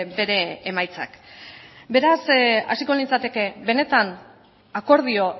bere emaitzak beraz hasiko nintzateke benetan akordio